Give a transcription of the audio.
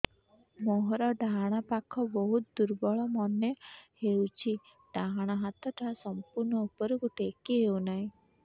ମୋର ଡାହାଣ ପାଖ ବହୁତ ଦୁର୍ବଳ ମନେ ହେଉଛି ଡାହାଣ ହାତଟା ସମ୍ପୂର୍ଣ ଉପରକୁ ଟେକି ହେଉନାହିଁ